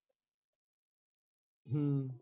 ਹੂ